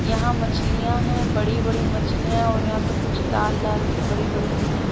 यहाँ मछलियां हैं बड़ी बड़ी मछलियाँ हैं और यहाँ पे कुछ लाल लाल सी बड़ी बड़ी सी है --